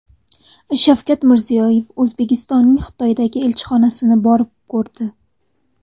Shavkat Mirziyoyev O‘zbekistonning Xitoydagi elchixonasini borib ko‘rdi .